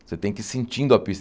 Você tem que ir sentindo a pista.